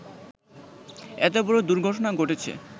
এত বড় দুর্ঘটনা ঘটেছে